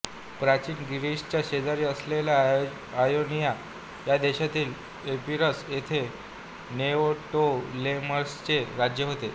प्राचीन ग्रीसच्या शेजारी असलेल्या आयोनिया या देशातील एपिरस येथे नेओटोलेमसचे राज्य होते